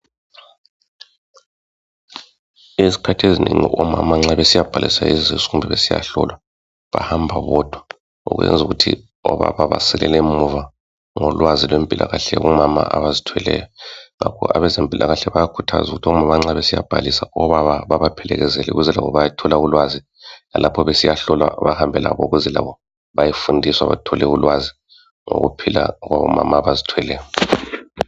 Izikhathi ezinengi omama nxa besiyabhalisa izisu kumbe besiyahlolwa bahamba bodwa okwenza ukuthi obaba basilela emuva ngolwazi lwempilakahle ngo mama abazithweleyo ngakho abezempulakahle bayakhuthaza omama nxa besiyabhalisa obaba bebaphelekezele ukuzelabo bathole ulwazi lalapho besiyahlolwa bahambe labo ukuze labo baye fundiswa bathole ulwazu ngokuphila kwabo mama abazithweleyo